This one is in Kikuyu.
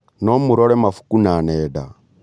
No mũrore mabuku na nenda